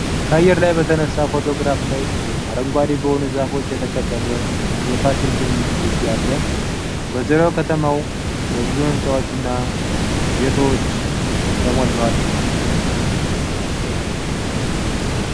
ከአየር ላይ በተነሳው ፎቶግራፍ ላይ አረንጓዴ በሆኑ ዛፎች የተከበበ የፋሲል ግንብ ግቢ አለ። በዙሪያው ከተማው በብዙ ህንፃዎች እና ቤቶች ተሞልቷል።